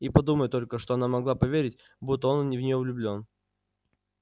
и подумать только что она могла поверить будто он не в нее влюблён